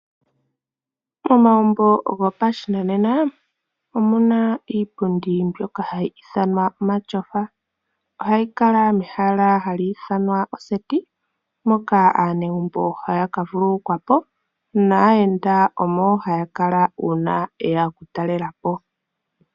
Momagumbo goposhinanena omuna iipundi mbyoka hayi ithanwa omatyofa ohayi kala mehala hamu ithana oseti mpoka aanegumbo haya ka vululukwapo naayenda omo haya kala uuna yeya okutalelapo.